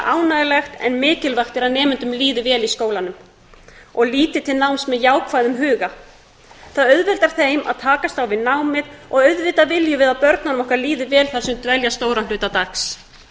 ánægjulegt en mikilvægt er að nemendum líði vel í skólanum og líti til náms með jákvæðum huga það auðveldar þeim að takast á við námið og auðvitað viljum við að börnunum okkar líði vel á sem þau dvelja stóran hluta dags